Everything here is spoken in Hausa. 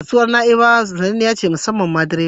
Kasuwar Na'ibawa sananniyar kasuwa ce musammam ma drivers.